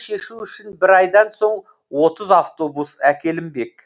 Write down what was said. шешу үшін бір айдан соң отыз автобус әкелінбек